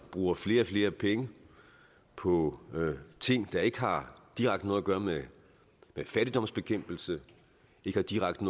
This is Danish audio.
bruger flere og flere penge på ting der ikke direkte har noget at gøre med fattigdomsbekæmpelse ikke direkte